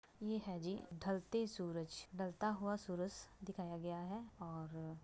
ये हैं जी ढलते सूरज ढलता हुआ सूरज दिखाया गया है और --